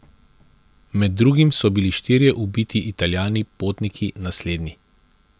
Med drugim so bili štirje ubiti Italijani potniki na slednji.